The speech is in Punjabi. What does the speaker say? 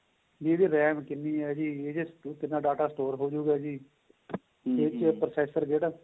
ਇਹਦੇ ਵਿੱਚ RAM ਕਿੰਨੀ ਏ ਇਹਦੇ ਚ ਕਿੰਨਾ data store ਹੋਜੂਗਾ ਜੀ ਏਸ ਚ processor ਕਿਹੜਾ